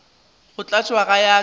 go tlatšwa go ya ka